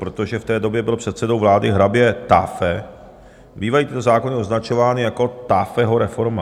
Protože v té době byl předsedou vlády hrabě Taaffe, bývají tyto zákony označovány jako Taaffeho reforma.